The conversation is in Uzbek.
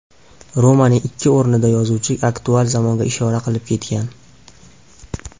Romanning ikki o‘rnida yozuvchi aktual zamonga ishora qilib ketgan.